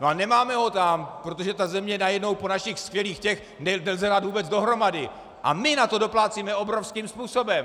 No a nemáme ho tam, protože tu zemi najednou po našich skvělých těch nelze dát vůbec dohromady a my na to doplácíme obrovským způsobem.